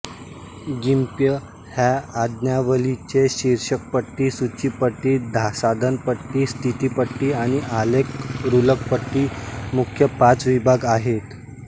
गिम्प ह्या आज्ञावलीचे शीर्षकपट्टी सूचीपट्टी साधनपेटी स्थितीपट्टी आणि आलेख रुलरपट्टी मुख्य पाच विभाग आहेत